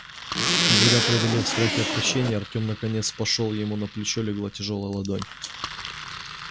и когда преодолев страх и отвращение артём наконец пошёл ему на плечо легла тяжёлая ладонь